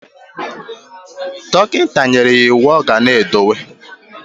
Dokita neyere ya iwu oga na edowu.